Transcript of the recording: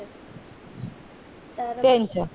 त्याच